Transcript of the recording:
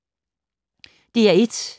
DR1